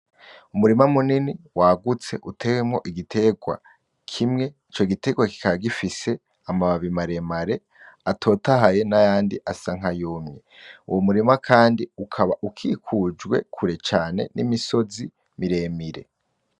Umurima munini wagutse utewemwo igiterwa kimwe, ico giterwa kikaba gifise amababi maremare atotahaye nayandi asa nkayumye, uwo murima kandi ukaba ukikujwe kure cane n'imisozi miremire.